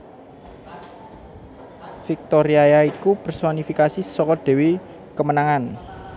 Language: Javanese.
Viktoriaya iku personifikasi saka dewi kemenangan